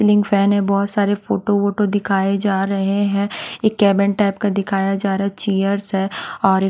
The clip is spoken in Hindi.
सीलिंग फैन हैं बहुत सारे फोटो वोटो दिखाए जा रहे हैं एक कैबिन टाइप का दिखाया जा रहा हैं चेयर्स हैं और --